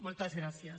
moltes gràcies